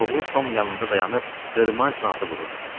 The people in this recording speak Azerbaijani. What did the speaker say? Oğlu Tom yanımda dayanıb qırmancla atı vururdu.